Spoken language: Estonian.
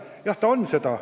Jah, see on seda.